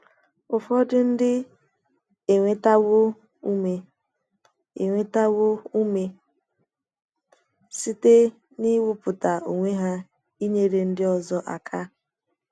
Ụfọdụ ndị enwetawo ụme enwetawo ụme site n’iwepụta onwe ha ịnyere ndị ọzọ aka.